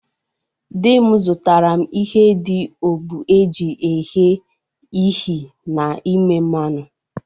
Di m zụtara m ihe dị ogbụ e ji ehe ihi n'ime mmanụ.